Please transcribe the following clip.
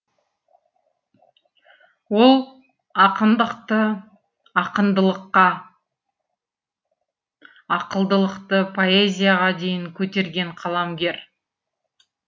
ол ақындықты ақындылыққа ақылдылықты поэзияға дейін көтерген қаламгер